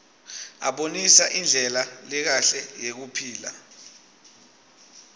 abonisa indlela lekahle yekuphila